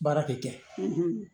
Baara de kɛ